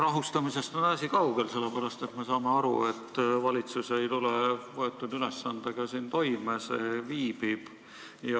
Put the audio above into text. Rahustamisest on asi kaugel, sellepärast et me saame aru, et valitsus ei tule võetud ülesandega toime, see viibib.